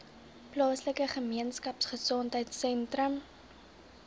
plaaslike gemeenskapgesondheid sentrum